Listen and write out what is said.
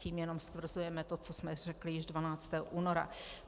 - Tím jenom stvrzujeme to, co jsme řekli již 12. února.